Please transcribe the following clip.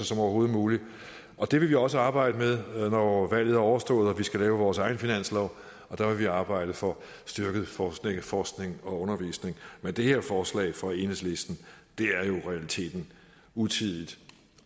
som overhovedet muligt og det vil vi også arbejde med når valget er overstået og vi skal lave vores egen finanslov der vil vi arbejde for at styrke forskning forskning og undervisning men det her forslag fra enhedslisten er jo i realiteten utidigt